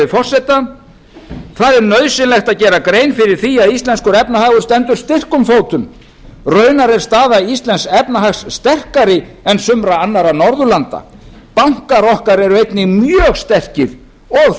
forseta það er nauðsynlegt að gera grein fyrir því að íslenskur efnahagur stendur styrkum fótum raunar er staða íslensks efnahags sterkari en sumra annarra norðurlanda bankar okkar eru einnig mjög sterkir og þrautseigir